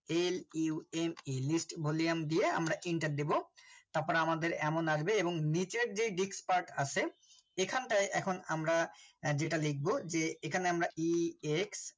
lume list Volume দিয়ে আমরা Enter দেবো। তারপর আমাদের এমন আসবে এবং নিজে যে dixpart আছে এইখান তাই এখন আমরা যেটা লিখব এখানে আমরা ex